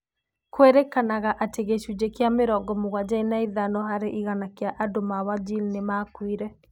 Kwĩrĩkanaga atĩ gĩcunjĩ kĩa mĩrongo mũgwanja na ithano varĩ igana kĩa andũ ma Wajir nĩ maakuire